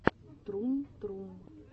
трум трум